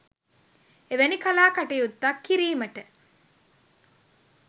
එවැනි කලා කටයුත්තක් කිරීමට